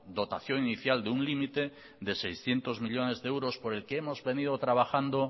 dotación inicial de un límite de seiscientos millónes de euros por el que hemos venido trabajando